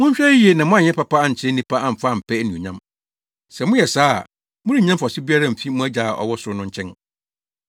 “Monhwɛ yiye na moanyɛ papa ankyerɛ nnipa amfa ampɛ anuonyam. Sɛ moyɛ saa a, morennya mfaso biara mfi mo Agya a ɔwɔ ɔsoro no nkyɛn.